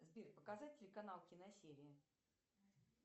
сбер показать телеканал киносерия